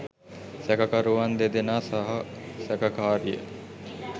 සැකකරුවන් දෙදෙනා සහ සැකකාරිය